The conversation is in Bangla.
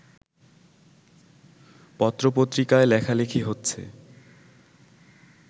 পত্রপত্রিকায় লেখালেখি হচ্ছে